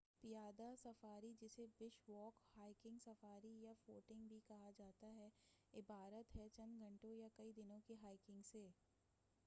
پیادہ safari جسے bush walk”, hiking safari” یا footing” بھی کہا جا تا ہے عبارت ہے چند گھنٹوں یا کئی دنوں کی ہائکنگ سے۔